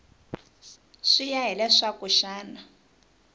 swi ya hi leswaku xana